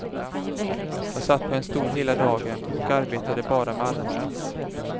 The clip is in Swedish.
Jag satt på en stol hela dagen och arbetade bara med armarna.